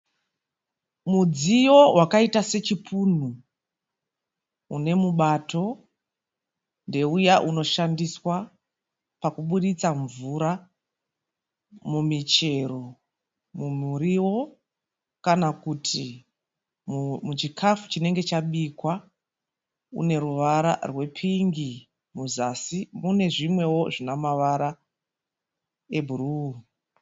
Mudziyo wakaita sechipunu unechibato, ndeuya unoshandiswa pakuburitsa mvura mumichero, mumiriwo kana kuti muchikafu chinenge chabikwa uneruvara rwepingi, muzasi munezvimwe zvineruvara rwebhuru.